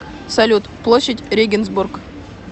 салют площадь регенсбург